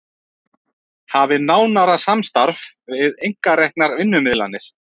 Hafi nánara samstarf við einkareknar vinnumiðlanir